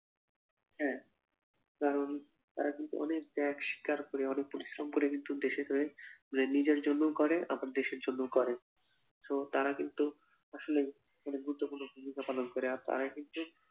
হ্যাঁ কারণ তারা কিন্তু অনেক ত্যাগ শিকার করে অনেক পরিশ্রম করে কিন্তু দেশের হয়ে মানে নিজের জন্যও করে আবার দেশের জন্যও করে so তারা কিন্তু আসলেই অনেক গুরুত্বপূর্ণ ভূমিকা পালন করে আর তারা কিন্তু